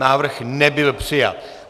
Návrh nebyl přijat.